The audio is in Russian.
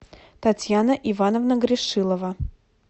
татьяна ивановна грешилова